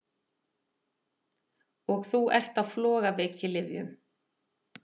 Og þú ert á flogaveikilyfjum!